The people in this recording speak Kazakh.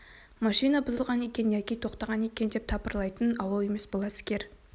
машина бұзылған екен яки тоқтаған екен деп тапырлайтын ауыл емес бұл әскер